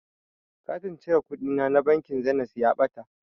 Katin cire kuɗina na bankin zenit ya ɓata.